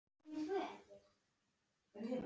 Hann gáði fram í búð.